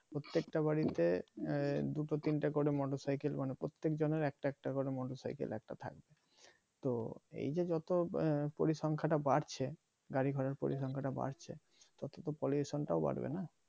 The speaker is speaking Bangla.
প্রত্যেকটা বাড়িতে আঃ দুটো তিনটে করে motorcycle মানে প্রত্যেক জনের একটা একটা করে motorcycle একটা থাকবে তো এইযে যত পরিসংখাটা বাড়ছে গাড়ি ঘোড়ার পরিসংখ্যান টা বাড়ছে তত তো pollution টাও বাড়বে না